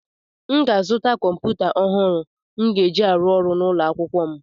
M ga-azụta kọmpụta ọhụrụ m ga-eji arụ ọrụ n'ụlọ akụ m